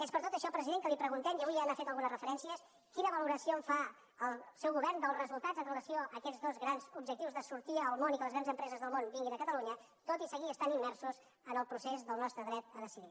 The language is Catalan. és per tot això president que li preguntem i avui ja hi ha fet algunes referències quina valoració fa el seu govern del resultats amb relació a aquests dos grans objectius de sortir al món i que les grans empreses del món vinguin a catalunya tot i seguir estant immersos en el procés del nostre dret a decidir